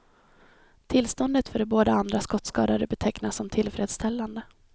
Tillståndet för de båda andra skottskadade betecknas som tillfredsställande.